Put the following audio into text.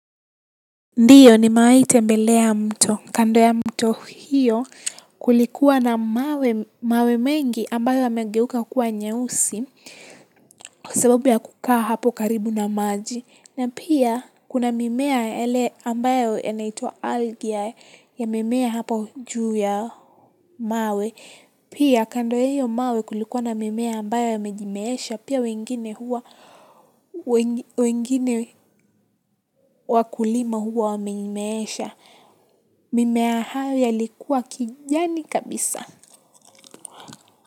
Ndiyo nimewahi tembelea mto. Kando ya mto hiyo kulikuwa na mawe mengi ambayo yamegeuka kuwa nyeusi kwa sababu ya kukaa hapo karibu na maji. Na pia kuna mimea yale ambayo yanaitwa algae yamemea hapo juu ya mawe pia kando ya hiyo mawe kulikua na mimea ambayo yamejimeesha pia wengine huwa, wengine wakulima huwa wameimeesha mimea hayo yalikuwa kijani kabisa.